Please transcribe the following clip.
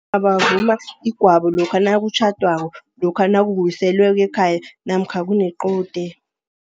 Abavuma igwabo lokha nakutjhadwako, lokha nakuwiselweko ekhaya namkha kunequde.